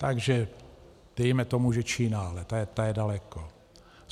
Takže dejme tomu, že Čína, ale ta je daleko.